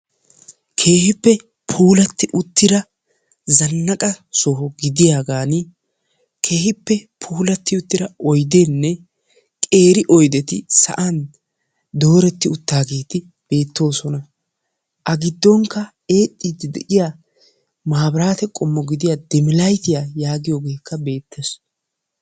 Keehippe puulatti uttida zannaqa soho gidiyagaani keehippe puulatti uttida oydeenne qeeri oydetti sa'aan dooretti uttaageeti beettoosona. A giddonkka eexxiiddi de'iya maabiraate qommo gidiya diim laytiya yaagiyogeekka beettees.